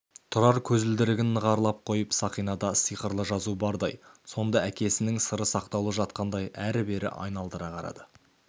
тұрар көзілдірігін нығарлап қойып сақинада сиқырлы жазу бардай сонда әкесінің сыры сақтаулы жатқандай әрі-бері айналдыра қарады